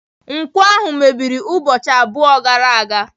Nkwọ ahụ mebiri ụbọchị abụọ gara aga.